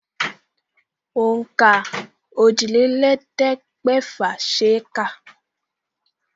Ònàka òjìlélẹ̀ẹ́dẹ́gbẹ̀fà ṣe é kà.